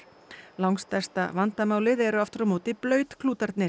langstærsta vandamálið eru aftur á móti